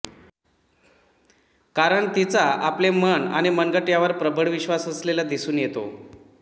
कारण तिचा आपले मन आणि मनगट यावर प्रबळ विश्वास असलेला दिसून येतो